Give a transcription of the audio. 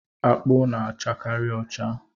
Akpụ na-achakari ọcha.